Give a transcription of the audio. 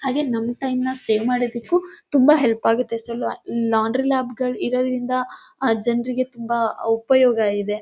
ಹಾಗೆ ನಮ್ ಟೈಮ್ ನ ಸೇವ್ ಮಾಡೋದಕ್ಕೂ ತುಂಬಾ ಹೆಲ್ಪ್ ಆಗುತ್ತೆ ಸ್ವಲ್ಪ ಲಾಂಡ್ರಿ ಲಾಭಗಳಿಂದ ಜನರಿಗೆ ತುಂಬಾ ಉಪಯೋಗ ಇದೆ.